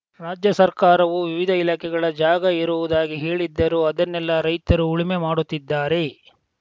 ರಾಜ್ಯ ಸರ್ಕಾರವು ವಿವಿಧ ಇಲಾಖೆಗಳ ಜಾಗ ಇರುವುದಾಗಿ ಹೇಳಿದ್ದರೂ ಅದನ್ನೆಲ್ಲಾ ರೈತರು ಉಳುಮೆ ಮಾಡುತ್ತಿದ್ದಾರೆ